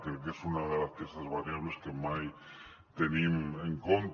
crec que és una d’aquestes variables que mai tenim en compte